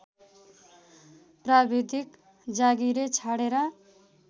प्राविधिक जागिरे छाडेर